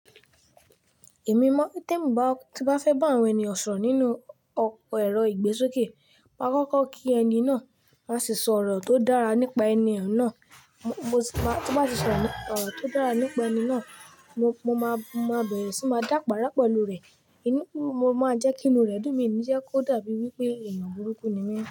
Èmi mọ̀ te mi bá, tí bá fẹ́ bá àwọn ènìyàn sọ̀rọ̀ nínú ọ̀pọ̀ ẹ̀rọ ìgbésókè, máa kọ́kọ́ kí ẹni náà, máa sì sọ̀rọ̀ tó dára nípa ẹni náà. Mo sì máa, tí ó bá sì sọ̀rọ̀ tó dára nípa ẹni náà, mo, mo máa, mo máa bẹ̀rẹ̀ sí máa dá pàrà pẹlu rẹ̀. Ìnúkùú, mo máa jẹ́ kí inú rẹ̀ dùn mí níjẹ́kí ó dàbí wí pé ènìyàn burúkú ni mí.